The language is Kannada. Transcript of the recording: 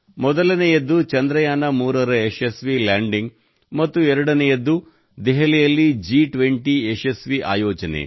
ಮೊದಲನೆಯದ್ದು ಚಂದ್ರಯಾನ3 ರ ಯಶಸ್ವಿ ಲ್ಯಾಂಡಿಂಗ್ ಮತ್ತು ಎರಡನೇ ವಿಷಯವೆಂದರೆ ದೆಹಲಿಯಲ್ಲಿ ಜಿ20 ರ ಯಶಸ್ವಿ ಆಯೋಜನೆ